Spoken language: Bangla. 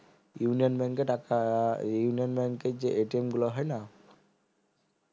ইউনিয়ন bank এ টাকা ইউনিয়ন bank এ যে গুলো হয়না